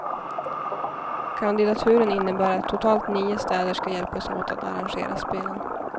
Kandidaturen innebär att totalt nio städer ska hjälpas åt att arrangera spelen.